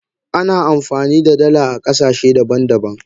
Ana amfani da dala a kasashe daban daban.